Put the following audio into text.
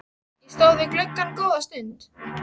Ég stóð við gluggann góða stund.